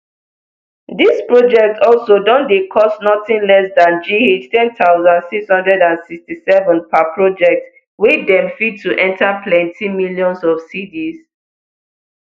dis projects also don dey cost nothing less than gh ten thousand six hundred and sixty-seven per project wey dem fit to enta plenti millions of cedis